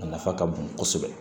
A nafa ka bon kosɛbɛ